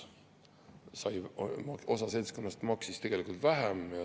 Osa seltskonnast maksis tegelikult vähem.